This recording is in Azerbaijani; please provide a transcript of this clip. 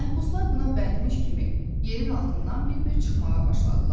Məhbuslar buna bəndmiş kimi yerin altından bir-bir çıxmağa başladılar.